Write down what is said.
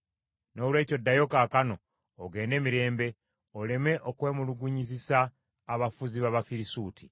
Noolwekyo ddayo kaakano, ogende mirembe oleme okwemulugunyizisa abafuzi b’Abafirisuuti.”